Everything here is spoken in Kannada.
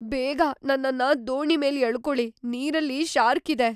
ಬೇಗ ನನ್ನನ್ನ ದೋಣಿ ಮೇಲ್ ಎಳ್ಕೊಳಿ‌, ನೀರಲ್ಲಿ ಶಾರ್ಕ್ ಇದೆ.